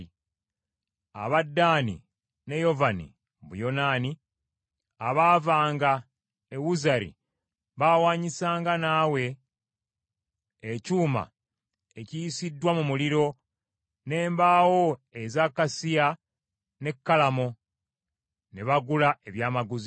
Aba Ddaani ne Yovani (Buyonaani) abaavanga e Wuzari baawanyisanga naawe ekyuma ekiyisiddwa mu muliro n’embawo eza kasiya ne kalamo, ne bagula ebyamaguzi byo.